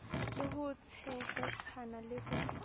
le ho tshehetsana le ho